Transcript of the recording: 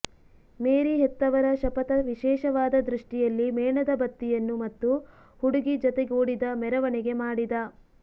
ಮೇರಿ ಹೆತ್ತವರ ಶಪಥ ವಿಶೇಷವಾದ ದೃಷ್ಟಿಯಲ್ಲಿ ಮೇಣದಬತ್ತಿಯನ್ನು ಮತ್ತು ಹುಡುಗಿ ಜತೆಗೂಡಿದ ಮೆರವಣಿಗೆ ಮಾಡಿದ